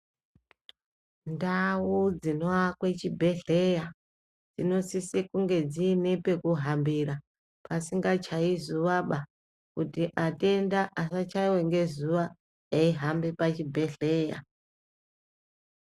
Ndau dzinoakwe chibhedhleya dzinosise kunge dzine pekuhambira pasingachayi zuwaba kuti atenda asachaiwa ngezuwa eihamba pachibhedhleya .